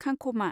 खंख'मा